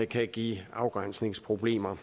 kan give afgrænsningsproblemer